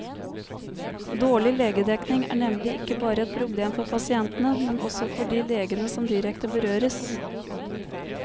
Dårlig legedekning er nemlig ikke bare et problem for pasientene, men også for de legene som direkte berøres.